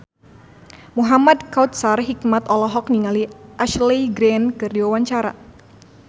Muhamad Kautsar Hikmat olohok ningali Ashley Greene keur diwawancara